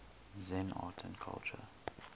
zen art and culture